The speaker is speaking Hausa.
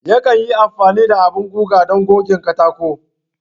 Yakan yi amfani da abin guga don goge katako.